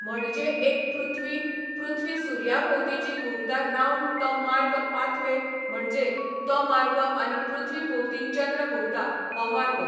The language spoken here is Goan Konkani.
म्हणजे एक पृथ्वी, पृथ्वी सुर्या भोंवती जी घुंवता रावंड तो मार्ग पाथवे म्हणजें तो मार्ग आनी पृथ्वी भोंवती चंद्र घुंवता हो मार्ग